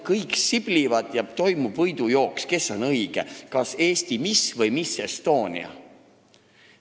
Kõik siblivad ja toimub võidujooks, kes on õige, kas Eesti miss või miss Estonia.